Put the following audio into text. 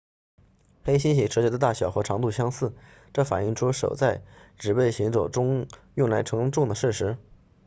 黑猩猩手脚的大小和长度相似这反映出手在指背行走中用来承重的事实